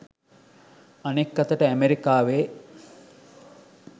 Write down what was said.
අනෙක් අතට ඇමරිකාවේ